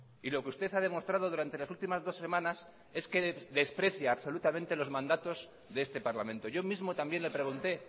y lo que usted ha demostrado durante las últimas dos semanas es que desprecia absolutamente los mandatos de este parlamento yo mismo también le pregunté